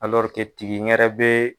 tigi ɲɛrɛ bɛ.